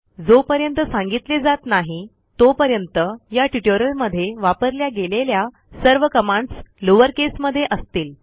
जोपर्यंत सांगितले जात नाही तोपर्यंत या ट्युटोरियल मध्ये वापरल्या गेलेल्या सर्व कमांडस लोअर केसमध्ये असतील